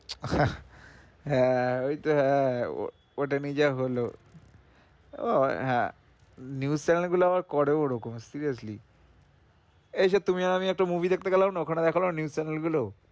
আহ হ্যাঁ ওইতো হ্যাঁ উহ ওইটা নিয়ে যা হলো উহ হ্যাঁ news chanel গুলো আবার করেও ওরকম seriously এই সেই তুমি আর আমি একটা movie দেখতে গেলাম না ওখানে দেখালো না news chanel গুলো